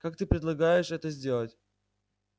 как ты предлагаешь это сделать